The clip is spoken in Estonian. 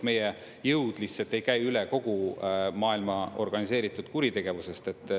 Meie jõud lihtsalt ei käi üle kogu maailma organiseeritud kuritegevusest.